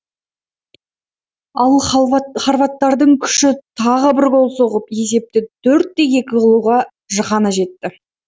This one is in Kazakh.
ал хорваттардың күші тағы бір гол соғып есепті төрт те екі қылуға ғана жетті